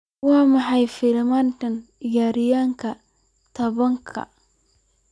waa maxay filimada ciyaarayaan todobaadkan